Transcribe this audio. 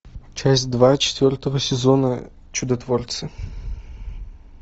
часть два четвертого сезона чудотворцы